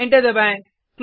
enter दबाएँ